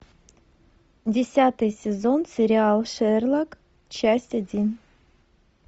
десятый сезон сериал шерлок часть один